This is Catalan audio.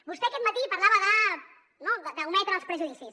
vostè aquest matí parlava no d’ometre els prejudicis